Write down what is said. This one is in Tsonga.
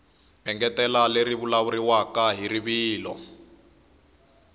engetela leri vulavuriwaka hi rivilo